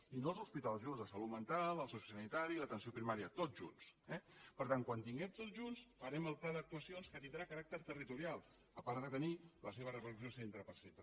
i no els hospitals junts de salut mental el sociosanitari l’atenció primària tots junts eh per tant quan els tinguem tots junts farem el pla d’actuacions que tindrà caràcter territorial a part de tenir les seves repercussions centre per centre